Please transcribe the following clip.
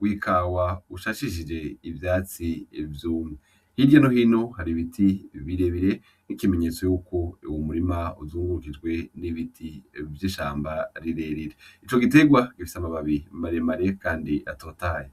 w'ikawa usashishije ivyatsi vyumye hirya no hino hari ibiti birebire nk'ikimenyetso yuko uwo murima uzungurukijwe n'ibiti vy'ishamba rirerire, ico giterwa gifise amababi maremare kandi atotahaye.